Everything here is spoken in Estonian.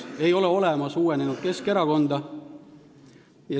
Ei ole olemas uuenenud Keskerakonda.